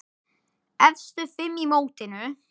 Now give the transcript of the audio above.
Efstu fimm í mótinu